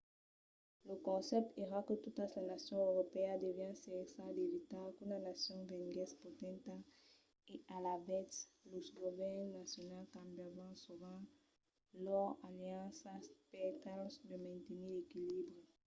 lo concèpte èra que totas las nacions europèas devián cercar d'evitar qu'una nacion venguèsse potenta e alavetz los govèrns nacionals cambiavan sovent lors alianças per tal de mantenir l'equilibri